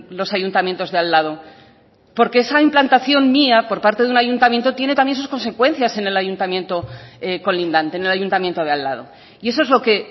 los ayuntamientos de al lado porque esa implantación mía por parte de un ayuntamiento tiene también sus consecuencias en el ayuntamiento colindante en el ayuntamiento de al lado y eso es lo que